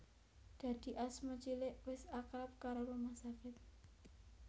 Dadi Asma cilik wis akrab karo rumah sakit